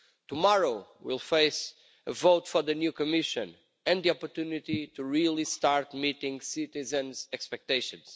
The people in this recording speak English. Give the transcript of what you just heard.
Tomorrow, we'll face a vote for the new Commission and the opportunity to really start meeting citizens' expectations.